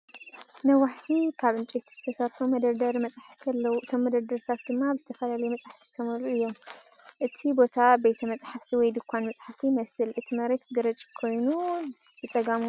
ነዋሕቲ ካብ ዕንጨይቲ ዝተሰርሑ መደርደሪ መጻሕፍቲ ኣለዉ፣ እቶም መደርደሪታት ድማ ብዝተፈላለዩ መጻሕፍቲ ዝተመልኡ እዮም። እቲ ቦታ ቤተ መጻሕፍቲ ወይ ድኳን መጻሕፍቲ ይመስል። እቲ መሬት ግራጭ ኮይኑ፡ ብጸጋም መንበር ይርአ።